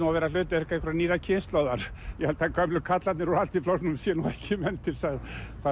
að vera hlutverk einhverrar nýrrar kynslóðar ég held að gömlu karlarnir úr Alþýðuflokknum séu ekki menn til að